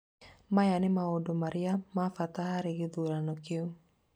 Maya nĩ maũndũ marĩa ma bata harĩ gĩthurano kĩu